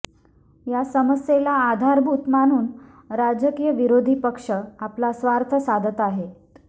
या समस्येला आधारभूत मानून राजकीय विरोधी पक्ष आपला स्वार्थ साधत आहेत